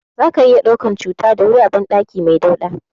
Zaka iya ɗaukan cuta da wuri a banɗaki mai dauɗa.